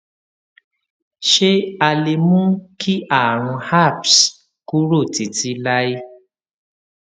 ṣé a lè mú kí àrùn herpes kúrò títí láé